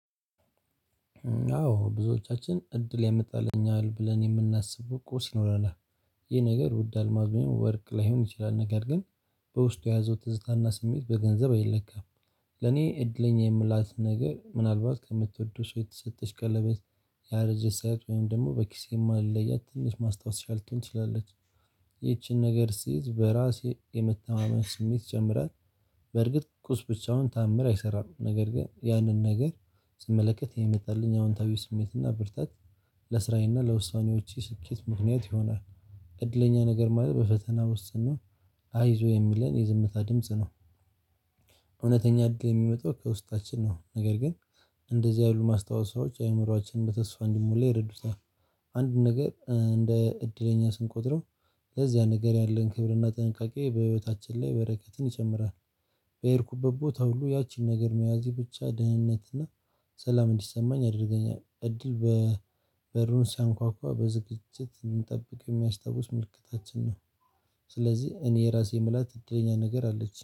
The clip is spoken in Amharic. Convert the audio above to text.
አዎ ብዙዎቻችን እድል ያመጣልኛል ብለን የምናስበው ቁስ ይኖራል። ይህ ነገር ውድ አልማዝ ወይም ወርቅ ላይሆን ይችላል። ነገር ግን በውስጡ የያዘው ትዝታና ስሜት በገንዘብ አይለካም። ለኔ እድለኛ የምላት ነገር ምናልባት ከምትወደው ሰው የተሰጠች ቀለበት ያረጀ ሰዓት ወይም ደግሞ በኪሴ የማል ለያት ትንሽ ማስታወሻ ልትሆን ትችላለች። ይቺን ነገር ስይዝ በራሴ የመተማመን ስሜት ይጀምራል። በርግጥ ቁስ ብቻውን ተዓምር አይሰራም። ነገር ግን ያንን ነገር ስመለከት የመጣልኝ አዎንታዊ ስሜትና ብርታት። ለስራዬና ለውሳኔዎቼ ስኬት ምክንያት ይሆናል። እድለኛ ነገር ማለት በፈተና ውስጥ ሆነው አይዞህ የሚለን የዝምታ ድምጽ ነው። እውነተኛ እድል የሚመጣው ከውስጣችን ነው። ነገር ግን እንደዚህ ያሉ ማስታወሰዎች አእምሮአችንን በተስፋ እንዲሞላ ይረዱታል። አንድ ነገር እንደ እድለኛ ስንቆጥረው ለዚያ ነገር ያለን ክብርና ጥንቃቄ በህይወታችን ላይ በረከትን ይጨምራል። የሄድኩበት ቦታ ሁሉ ያችን ነገር መያዝ ብቻ ድህነትና ሰላም እንዲሰማኝ ያድርገኛል። እድል በበሩን ሲያንኳኳ በዝግጅት እንድንጠብቅ የሚያስታውስ ምልክታችን ነው። ስለዚህ እኔ የራሴ የምላት እድለኛ ነገር አለች